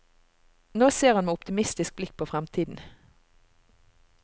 Nå ser han med optimistisk blikk på fremtiden.